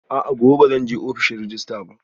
A'a, gobe ba zan je ofishin rejista ba